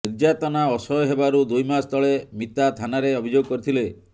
ନିର୍ଯାତନା ଅସହ୍ୟ ହେବାରୁ ଦୁଇମାସ ତଳେ ମିତା ଥାନାରେ ଅଭିଯୋଗ କରିଥିଲେ